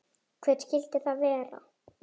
Hver skyldi það vera?